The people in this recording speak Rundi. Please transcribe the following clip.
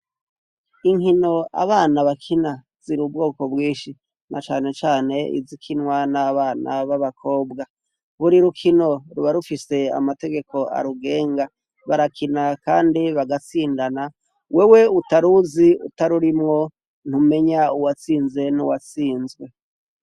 inkino abana bakina ziri ubwoko bwinshi na cane cane izikinwa n'abana b'abakobwa, buri rukino ruba rufise amategeko arugenga barakina kandi bagatsindana wewe utaruzi utarurimwo ntumenya uwatsinze n'uwatsinzwe.